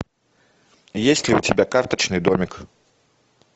есть ли у тебя карточный домик